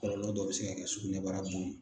Kɔlɔlɔ dɔ bɛ se ka kɛ sugunɛbara bon